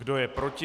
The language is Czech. Kdo je proti?